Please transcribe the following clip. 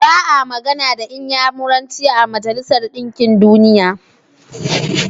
Ba a magana da Inyamuranci a Majalisar Ɗinkin Duniya.